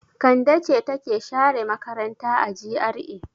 Kande ce take share makaranta a GRA.